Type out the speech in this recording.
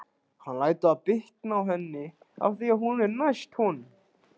Hann lætur það bitna á henni af því að hún er næst honum.